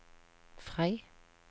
Frei